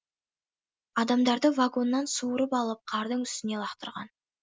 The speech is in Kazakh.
адамдарды вагоннан суырып алып қардың үстіне лақтырған